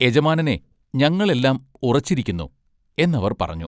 യജമാനനെ ഞങ്ങൾ എല്ലാം ഉറച്ചിരിക്കുന്നു" എന്ന അവർ പറഞ്ഞു.